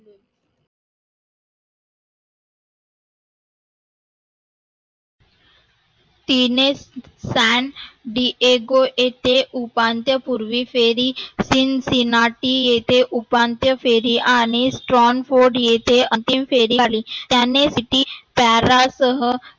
तिने fans इथे Diego उपांत्य पूर्वी फेरी cincinnati उपांत्य फेरी आणि Transport येथे अंतिम फेरी आली त्याने तेथी प्यारा सह